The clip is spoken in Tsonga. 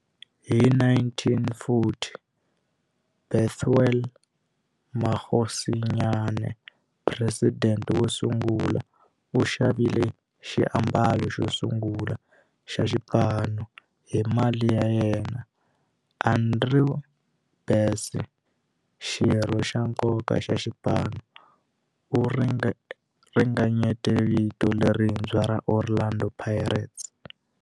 Hi 1940, Bethuel Mokgosinyane, president wosungula, u xavile xiambalo xosungula xa xipano hi mali ya yena. Andrew Bassie, xirho xa nkoka xa xipano, u ringanyete vito lerintshwa ra 'Orlando Pirates'.